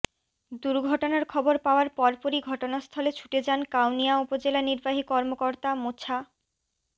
দুর্ঘটনার খবর পাওয়ার পরপরই ঘটনাস্থলে ছুটে যান কাউনিয়া উপজেলা নির্বাহী কর্মকর্তা মোছা